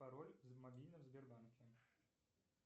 пароль в мобильном сбербанке